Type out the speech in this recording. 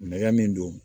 Nɛgɛ min don